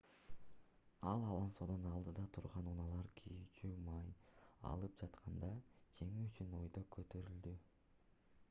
ал алонсодон алдыда турган унаалар күйүүчү май алып жатканда жеңүү үчүн өйдө көтөрүлдү